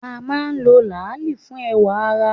A máa ń lo làálì fún ẹwà ara.